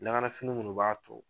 fini munnu b'a ton